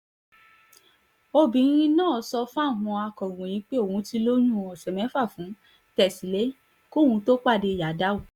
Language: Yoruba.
obìnrin náà sọ fáwọn akọ̀ròyìn pé òun ti lóyún ọ̀sẹ̀ mẹ́fà fún tẹ́sílẹ̀ kóun tóó pàdé yadow